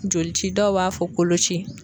Jolici dɔw b'a fɔ koloci.